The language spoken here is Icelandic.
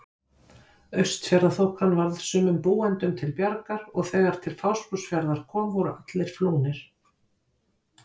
Austfjarðaþokan varð sumum búendum til bjargar og þegar til Fáskrúðsfjarðar kom voru allir flúnir.